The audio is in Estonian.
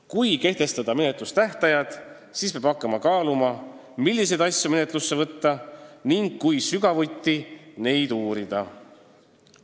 Kui kehtestada menetlustähtajad, siis peab hakkama kaaluma, milliseid asju menetlusse võtta ning kui sügavuti neid uurida.